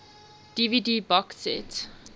dvd box set